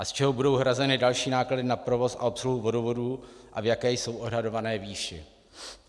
A z čeho budou hrazeny další náklady na provoz a obsluhu vodovodů a v jaké jsou odhadované výši?